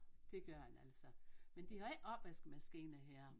Det gør den altså men de har ikke opvaskemaskine her